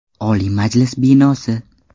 Oliy Majlis binosi.